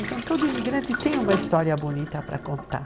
Então, todo imigrante tem uma história bonita para contar.